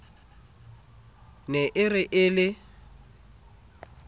ne e re e le